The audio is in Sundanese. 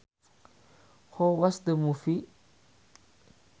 How was the movie